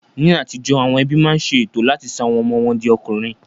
Ní àtijó, àwọn ẹbí máa ń ṣe ètò láti sọ àwọn ọmọ wọn di ọkùnrin